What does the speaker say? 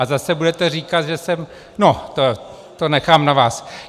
A zase budete říkat, že jsem... no, to nechám na vás.